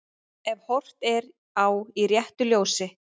Ef horft er á í réttu ljósi.